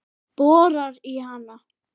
Borar í hana.